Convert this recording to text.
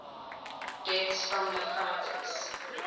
deaths from nephritis